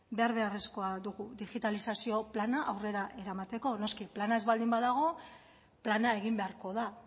behar beharrezkoa dugu digitalizazio plana aurrera eramateko noski plana ez baldin badago plana egin beharko da